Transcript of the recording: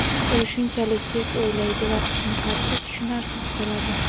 u shunchalik tez o‘ylaydi va husnixati tushunarsiz bo‘ladi.